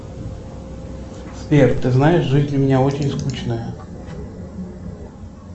сбер ты знаешь жизнь у меня очень скучная